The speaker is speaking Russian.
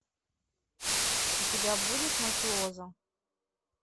у тебя будет мафиоза